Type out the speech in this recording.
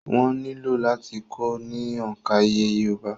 Wọ́n nílò láti kọ́ ọ ní òǹkà iye yorùbá